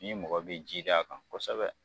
Ni mɔgɔ bɛ ji k'an kan kosɛbɛ.